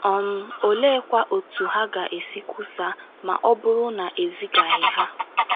um Oleekwa otú ha ga - esi kwusaa ma ọ bụrụ na e zigaghị ha? ”